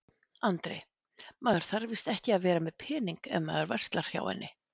Andri: Maður þarf víst ekki að vera með pening ef maður verslar hjá henni?